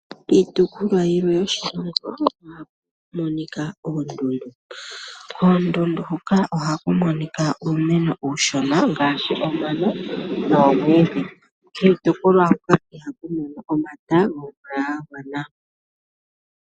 Iitopolwa yilwe yoshilongo ohaku monika oondundu. Koondundu hoka ohaku monika uumeno uushona ngaashi omano noomwiidhi. Kiitopolwa hoka ihaku mono omata gomvula ga gwana.